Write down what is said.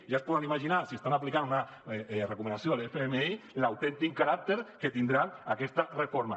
ja es poden imaginar si estan aplicant una recomanació de l’fmi l’autèntic caràcter que tindrà aquesta reforma